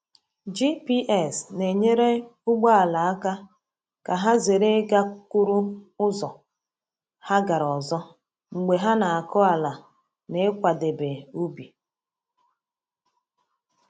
GPS na-enyere ugbo ala aka ka ha zere ịgakwuru ụzọ ha gara ọzọ mgbe ha na-akụ ala na ịkwadebe ubi.